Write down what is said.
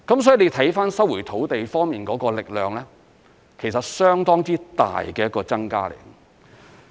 所以看收回土地方面的力量，其實是有相當之大的增加。